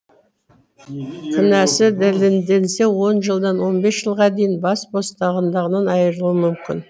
кінәсі дәлелденсе жылдан он бес жылға дейін бас бостандығынан айырылуы мүмкін